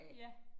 Ja